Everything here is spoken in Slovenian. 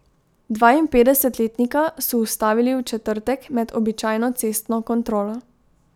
Dvainpetdesetletnika so ustavili v četrtek med običajno cestno kontrolo.